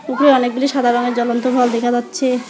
উপরে অনেকগুলি সাদা রঙের জ্বলন্ত ভাল্ব দেখা যাচ্ছে।